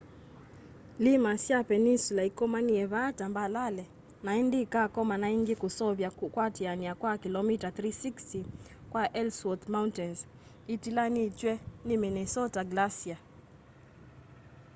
iima sya peninsula ikomanie vaa tambalale na indi ikakomana ingi kuseuvya kuatiania kwa kilomita 360 kwa ellsworth mountains itilanitw'e ni minnesota glacier